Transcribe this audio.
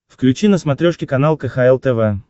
включи на смотрешке канал кхл тв